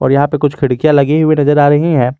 यहां पे कुछ खिड़कियां लगी हुई नजर आ रही है।